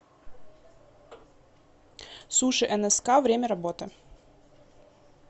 суши нск время работы